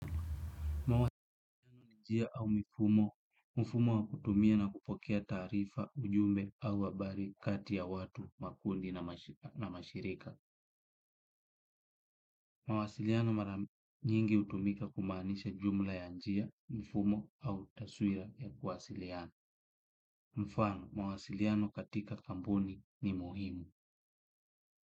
Mawasiliano ni njia au mifumo, mfumo wa kutumia na kupokea taarifa ujumbe au habari kati ya watu makundi na mashirika. Mwasiliano mara nyingi hutumika kumaanisha jumla ya njia, mfumo au taswira ya kuwasiliana. Mfano, mwasiliano katika kampuni ni muhimu.